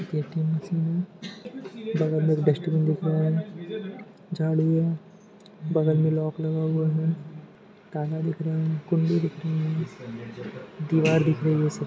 ATM machine है बगल मैं डस्टबिन दिख रहा हैं झाड़ू है बगल मैं लोक लगा हुआ है ताला दिख रहे है कुण्डी दिख रहे है दिवार दिख रही है।